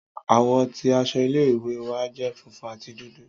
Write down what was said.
Àwọ̀ ti aṣọ ile-iwe wa jẹ funfun ati dudu.